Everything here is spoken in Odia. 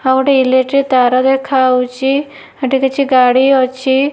ଆଉ ଗୋଟେ ଇଲେକ୍ଟ୍ରି ତାର ଦେଖାଯାଉଛି ହେଠି କିଛି ଗାଡ଼ି ଅଛି।